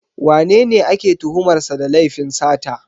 Wanene ake tuhumar sa da laifin sata?